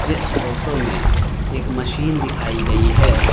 इस फोटो में एक मशीन दिखाई गई है।